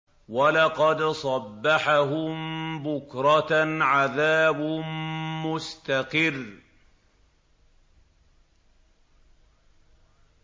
وَلَقَدْ صَبَّحَهُم بُكْرَةً عَذَابٌ مُّسْتَقِرٌّ